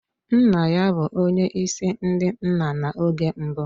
Nna ya bụ onye isi ndị nna na oge mbụ.